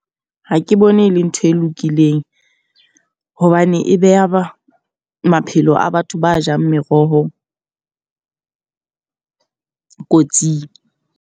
Ha ke bone e le ntho e lokileng. Hobane e beha maphelo a batho ba jang meroho kotsing.